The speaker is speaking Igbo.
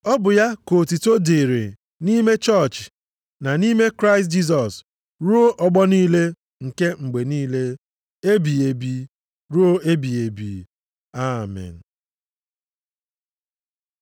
ọ bụ ya ka otuto dịrị nʼime chọọchị na nʼime Kraịst Jisọs ruo ọgbọ niile nke mgbe niile, ebighị ebi ruo ebighị ebi. Amen.